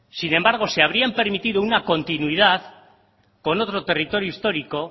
sin embargo si habrían permitido una continuidad con otro territorio histórico